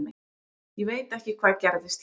Ég veit ekki hvað gerðist hér.